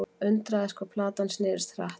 Undraðist hvað platan snerist hratt.